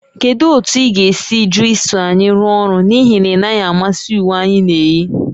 Kedu otu ị ga - esi jụ iso anyị rụọ ọrụ n'ihi na ị naghị amasị uwe anyị na-eyi?